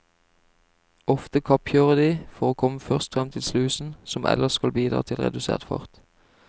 Ofte kappkjører de for å komme først frem til slusen som ellers skal bidra til redusert fart.